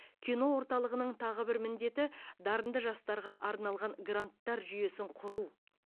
кино орталығының тағы бір міндеті дарынды жастарға арналған гранттар жүйесін құру